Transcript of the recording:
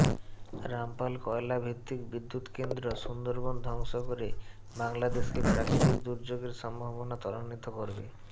রামপাল কয়লাভিত্তিক বিদ্যুৎকেন্দ্র সুন্দরবন ধ্বংস করে বাংলাদেশকে প্রাকৃতিক দুর্যোগের সম্ভাবনা ত্বরান্বিত করবে